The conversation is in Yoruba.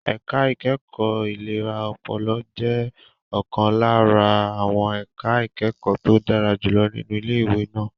Ẹ̀ka ìkẹ́kọ̀ọ́ ìlera ọpọlọ jẹ́ ọ̀kan lára àwọn ẹ̀ka ìkẹ́kọ̀ọ́ tó dára jùlọ nínú ilé ìwé náà.